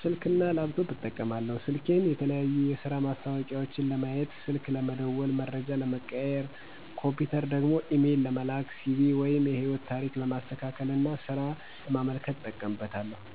ስልክ እና ላፕቶፕ እጠቀማለሁ። ስልኬን የተለያዩ የስራ ማስታወቂያዎችን ለማየት፣ ስልክ ለመደዋወል(መረጃ ለመቀያየር )፣ኮምፒውተር ደግሞ ኢሜል ለመላክ፣ CV(የህይወት ታሪክ)ለማስተካከልና ስራ ለማመልከት እጠቀምበታለሁ።